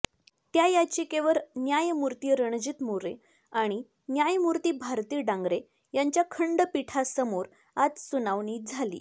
त्या याचिकेवर न्यायमूर्ती रणजीत मोरे आणि न्यायमूर्ती भारती डांगरे यांच्या खंडपीठासमोर आज सुुनावणी झाली